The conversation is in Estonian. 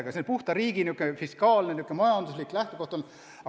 Aga see on puhtalt riigi fiskaalne, majanduslik lähtekoht olnud.